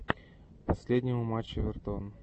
последнего матча эвертон